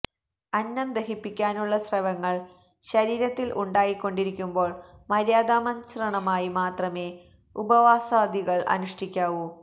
അന്നം ദഹിപ്പിക്കാനുള്ള സ്രവങ്ങള് ശരീരത്തില് ഉണ്ടായിക്കൊണ്ടിരിക്കുമ്പോള് മര്യാദാമസൃണമായി മാത്രമേ ഉപവാസാദികള് അനുഷ്ഠിക്കാവൂ